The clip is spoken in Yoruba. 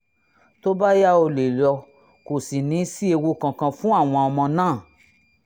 tó bá yá o lè lọ kò sì ní sí ewu kankan fún àwọn ọmọ náà